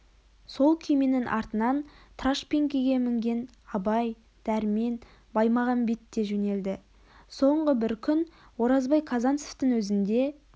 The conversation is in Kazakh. сол күйменің артынан трашпеңкеге мінген абай дәрмен баймағамбет те жөнелді соңғы бір күн оразбай казанцевтің өзінде